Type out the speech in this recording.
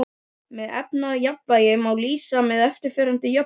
Þessu efnajafnvægi má lýsa með eftirfarandi jöfnum